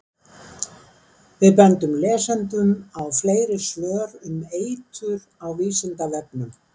Við bendum lesendum á fleiri svör um eitur á Vísindavefnum.